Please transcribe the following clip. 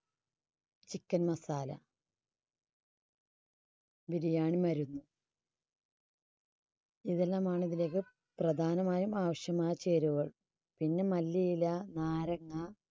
chicken masala biriyani മരുന്ന്, ഇവയെല്ലാമാണ് പ്രധാനമായും ആവശ്യമായ ചേരുവകൾ. പിന്നെ മല്ലിയില, നാരങ്ങാ